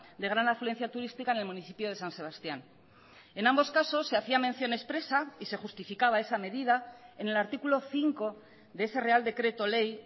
de gran afluencia turística en el municipio de san sebastián en ambos casos se hacía mención expresa y se justificaba esa medida en el artículo cinco de ese real decreto ley